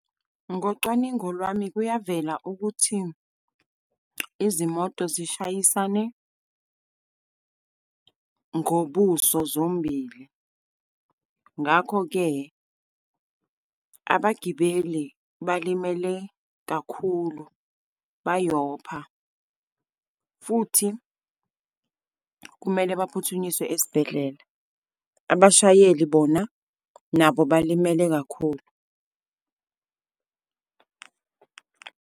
Ngocwaningo lwami kuyavela ukuthi izimoto zishayisane ngobuso zombili. Ngakho-ke, abagibeli balimele kakhulu. Bayabopha, futhi kumele baphuthunyiswe esibhedlela. Abashayeli bona, nabo balimele kakhulu.